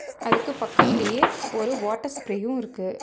அதுக்கு பக்கத்துலயே ஒரு வாட்டர் ஸ்ப்ரேயு இருக்கு.